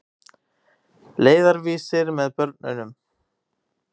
Leiðarvísir með börnum.